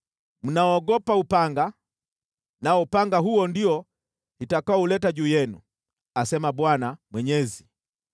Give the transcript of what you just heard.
Mnaogopa upanga, nao upanga huo ndio nitakaouleta juu yenu, asema Bwana Mwenyezi.